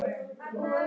Börn: Áki og Össur.